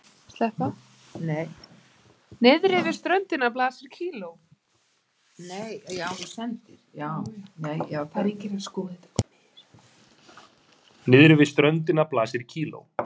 Niðri við ströndina blasir kíló